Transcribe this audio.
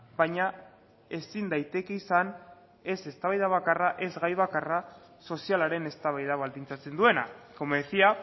baina ezin daiteke izan ez eztabaida bakarra ez gai bakarra sozialaren eztabaida baldintzatzen duena como decía